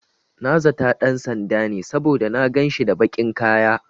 Na zata ɗan sanda ne, saboda na ganshi da baƙin kaya.